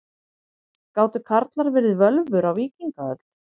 Gátu karlar verið völvur á víkingaöld?